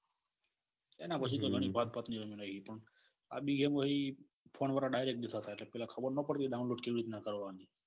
એના પછી તો ગણી આ બી ગેમ ફોન વાળા ડાયરેક્ટ દેતા. તા એટલે ખબર ના પડે ને download કેવી રીત ના કરવાની.